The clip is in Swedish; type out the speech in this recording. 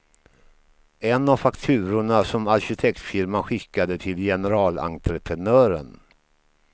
En av fakturorna som arkitektfirman skickade till generalentreprenören.